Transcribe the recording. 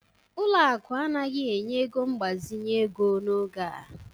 Ụlọ akụ anaghị enye ego mgbazinye ego n'oge a